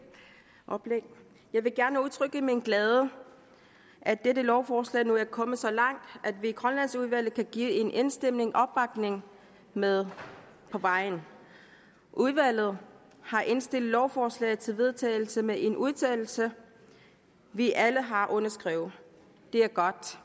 jeg vil gerne udtrykke min glæde over at dette lovforslag nu er kommet så langt at vi i grønlandsudvalget kan give det en enstemmig opbakning med på vejen udvalget har indstillet lovforslaget til vedtagelse med en udtalelse vi alle har underskrevet det er godt